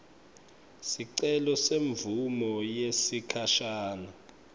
sicelo semvumo yesikhashane